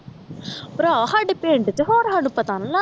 ਭਰਾ ਸਾਡੇ ਪਿੰਡ ਤੇ ਹੋਰ ਸਾਨੂੰ ਪਤਾ ਨਾ ਲੱਗ